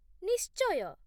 ନିଶ୍ଚୟ !